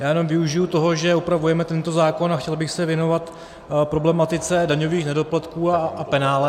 Já jenom využiji toho, že opravujeme tento zákon, a chtěl bych se věnovat problematice daňových nedoplatků a penále.